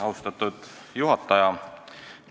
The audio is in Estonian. Austatud juhataja!